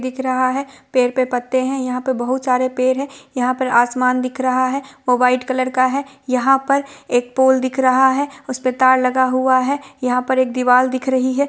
दिख रहा है पेड़ पे पत्ते है यहाँ पे बहुत सारे पेड़ है यहाँ पर आसमान दिख रहा है वो व्हाइट कलर का है यहाँ पर एक पोल दिख रहा है उस पे तार लगा हुआ है यहाँ पर एक दिवाल दिख रही है।